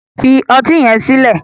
fi ọti yen sile.